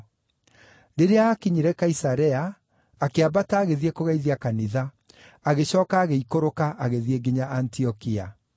Rĩrĩa aakinyire Kaisarea, akĩambata agĩthiĩ kũgeithia Kanitha, agĩcooka agĩikũrũka agĩthiĩ nginya Antiokia.